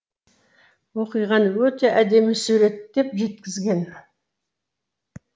оқиғаны өте әдемі суреттеп жеткізген